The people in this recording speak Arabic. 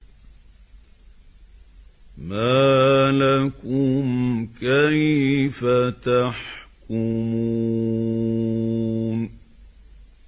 مَا لَكُمْ كَيْفَ تَحْكُمُونَ